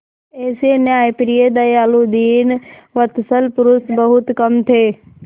ऐसे न्यायप्रिय दयालु दीनवत्सल पुरुष बहुत कम थे